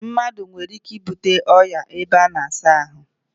Mmadu nwere ike ibute oria n'ebe a na-asa ahu